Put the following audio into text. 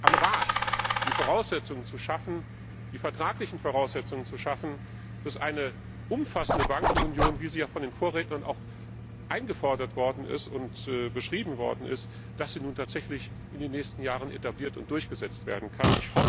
am Rat, die Voraussetzungen zu schaffen, die vertraglichen Voraussetzungen zu schaffen, damit eine umfassende Bankenunion, wie sie ja von den Vorrednern auch eingefordert und beschrieben worden ist, nun in den nächsten Jahren tatsächlich etabliert und durchgesetzt werden kann.